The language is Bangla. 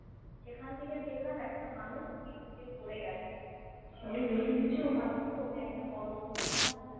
সেখান থেকে দেখলাম একটা মানুষ slip কেটে পড়ে গেছে ওটা একটা বড়ো দূরঘটনা হোতে পাড়ে